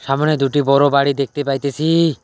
সামোনে দুটি বড় বাড়ি দেখতে পাইতেসিই।